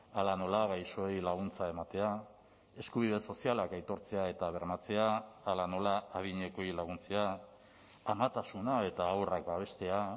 hala nola gaixoei laguntza ematea eskubide sozialak aitortzea eta bermatzea hala nola adinekoei laguntzea amatasuna eta haurrak babestea